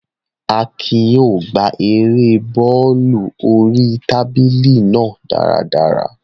Akin yóò gbá erée bọ́ọ̀lù oríi tábìlì náà dáradára